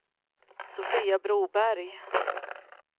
Sofia Broberg